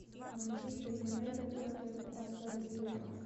манчестер юнайтед против астон виллы